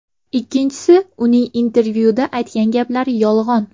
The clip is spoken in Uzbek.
Ikkinchisi, uning intervyuda aytgan gaplari yolg‘on.